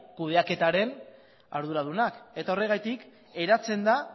kudeaketaren arduradunak eta horregatik eratzen da